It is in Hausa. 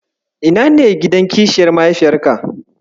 Ina ne gidan kishiyar mahaifiyarka?